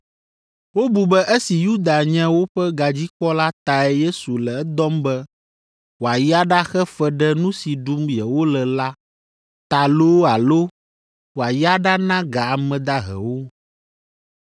Wobu be esi Yuda nye woƒe gadzikpɔla tae Yesu le edɔm be wòayi aɖaxe fe ɖe nu si ɖum yewole la ta loo alo wòayi aɖana ga ame dahewo.